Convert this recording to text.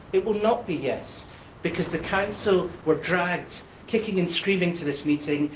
It will not be ʽyesʼ, because the Council was dragged kicking and screaming to this meeting.